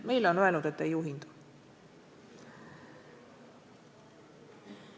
Meile on öeldud, et ei juhindu.